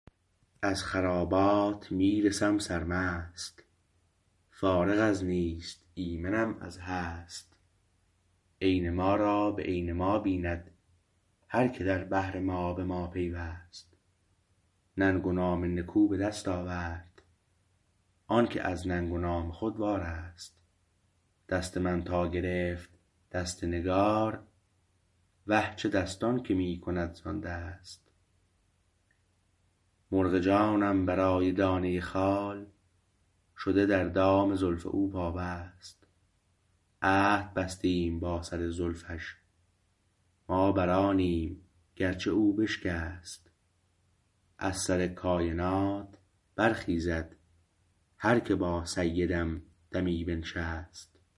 از خرابات می رسم سرمست فارغ از نیست ایمنم از هست عین ما را به عین ما بیند هرکه در بحر ما به ما پیوست ننگ و نام نکو به دست آورد آنکه از ننگ و نام خود وارست دست من تا گرفت دست نگار وه چه دستان که می کند زان دست مرغ جانم برای دانه خال شده در دام زلف او پابست عهد بستیم با سر زلفش ما بر آنیم گرچه او بشکست از سر کاینات برخیزد هر که با سیدم دمی بنشست